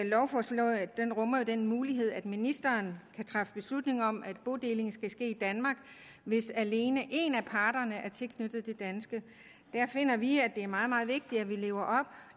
lovforslaget rummer jo den mulighed at ministeren kan træffe beslutninger om at bodeling skal ske i danmark hvis alene en af parterne er tilknyttet det danske der finder vi at det er meget meget vigtigt at vi lever op